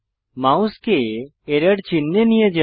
মাউসকে এরর চিহ্নে নিয়ে যান